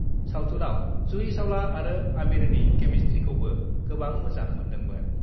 सावथुनआव जुहि चावला आरो आमिरनि केमिस्ट्रीखौबो गोबां मोजां मोन्दोंमोन।